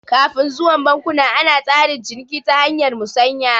Kafun zuwan bankuna ana tsarin ciniki ta hanyar musanya